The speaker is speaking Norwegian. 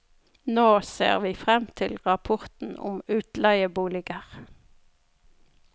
Nå ser vi frem til rapporten om utleieboliger.